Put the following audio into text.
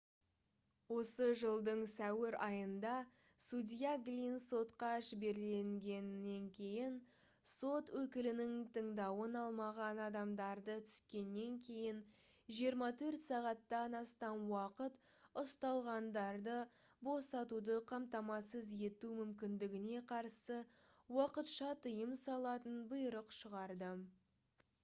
осы жылдың сәуір айында судья глинн сотқа жіберілгеннен кейін сот өкілінің тыңдауын алмаған адамдарды түскеннен кейін 24 сағаттан астам уақыт ұсталғандарды босатуды қамтамасыз ету мүмкіндігіне қарсы уақытша тыйым салатын бұйрық шығарды